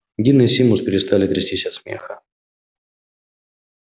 дин и симус перестали трястись от смеха